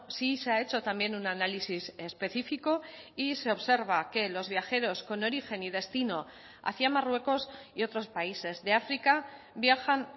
sí se ha hecho también un análisis específico y se observa que los viajeros con origen y destino hacia marruecos y otros países de áfrica viajan